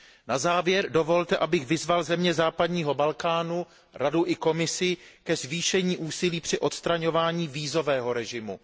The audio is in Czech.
Na závěr dovolte, abych vyzval země západního Balkánu, Radu i Komisi ke zvýšení úsilí při odstraňování vízového režimu.